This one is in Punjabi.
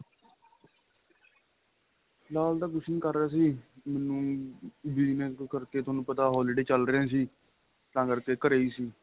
ਫਿਲਹਾਲ ਤਾਂ ਕੁੱਛ ਨਹੀਂ ਕਰ ਰਿਹਾ ਸੀ ਤੁਹਾਨੂੰ ਪਤਾ holiday ਚੱਲ ਰਹੇ ਸੀ ਤਾਂ ਕਰਕੇ ਘਰੇ ਏ ਸੀ